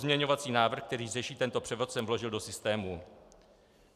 Pozměňovací návrh, který řeší tento převod, jsem vložil do systému.